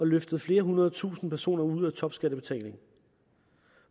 løftet flere hundrede tusinde personer ud af topskattebetalingen og